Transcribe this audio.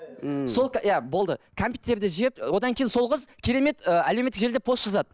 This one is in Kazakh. ммм сол иә болды кәмпиттерді жеп одан кейін сол қыз керемет ы әлеуметтік желілерде пост жазады